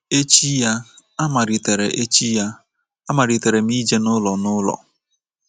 Echi ya, amalitere Echi ya, amalitere m ije n’ụlọ nụlọ.